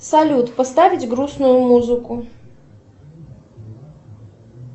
салют поставить грустную музыку